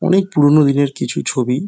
অনকে পুরোনো দিনের কিছু ছবি ।